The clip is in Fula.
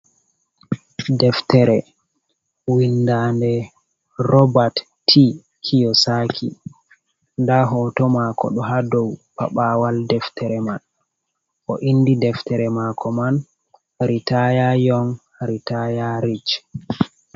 Deftere, winndaande Robert T. Kiosaki, nda hooto maako ɗo haa dow paɓaawal deftere man, o inndi deftere maako man ritaaya yong, ritaaya ric.